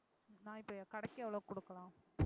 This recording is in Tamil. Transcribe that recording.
நான் இப்ப என் கடைக்கு எவ்வளவு கொடுக்கலாம்